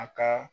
A ka